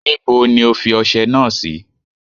Níbo ni O fi ọsẹ náà sí?